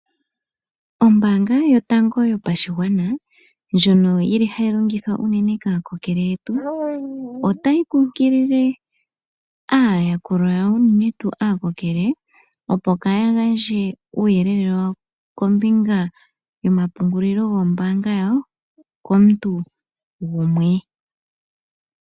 Ombaanga yotango yopashigwana ndjono yi li hayi longithwa unene kaakokele yetu, otayi kunkilile aayakulwa yawo unene tuu aakokele opo kaya gandje uuyelele wawo kombinga yomapungulilo goombanga yawo komuntu gumwe.